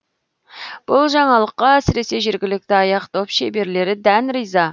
бұл жаңалыққа әсіресе жергілікті аяқ доп шеберлері дән риза